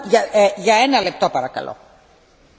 Frau Präsidentin, liebe Kolleginnen und Kollegen!